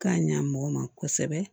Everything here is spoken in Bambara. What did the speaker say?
K'a ɲa mɔgɔ ma kosɛbɛ